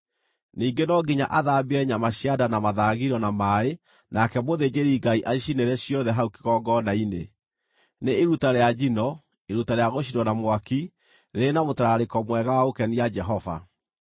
Ningĩ no nginya athambie nyama cia nda na mathagiro na maaĩ nake mũthĩnjĩri-Ngai acicinĩre ciothe hau kĩgongona-inĩ. Nĩ iruta rĩa njino, iruta rĩa gũcinwo na mwaki, rĩrĩ na mũtararĩko mwega wa gũkenia Jehova.